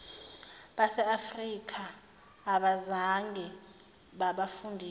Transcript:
baseafrika abazange babafundise